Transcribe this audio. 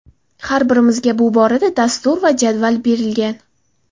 Har birimizga bu borada dastur va jadval berilgan.